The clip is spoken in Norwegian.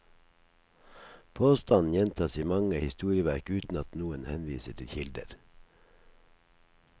Påstanden gjentas i mange historieverk uten at noen henviser til kilder.